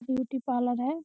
Beauty parlour है।